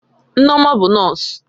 Nneoma bụ nọọsụ